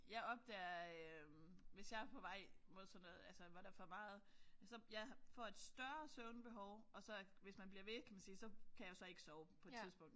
Jeg opdager øh hvis jeg er på vej mod sådan noget altså hvor der er for meget så jeg får et større søvnbehov og hvis man bliver ved kan man sige så kan jeg så ikke sove på et tidspunkt